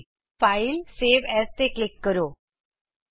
file gt gt save as file gt gt save A S ਤੇ click ਕਰੋ